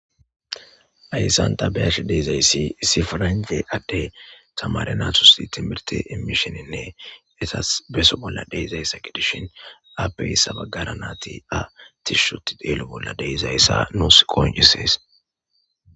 Haysan ta be'ash deezayssi isi paranja adde tamare natusi timirti imisheninne etas beso bolla deezayssa gidishin appeyssa baggara nati a tishshoti deelo bolla deizayssa nuus qooncisees.